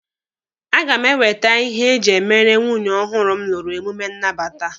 A ga m ewete ihe eji e mere nwunye ọhụrụ m lụrụ emume nnabata.